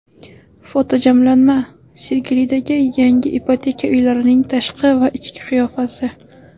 Fotojamlanma: Sergelidagi yangi ipoteka uylarining tashqi va ichki qiyofasi .